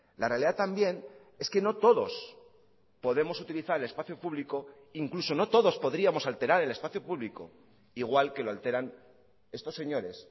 la realidad también es que no todos podemos utilizar el espacio público incluso no todos podríamos alterar el espacio público igual que lo alteran estos señores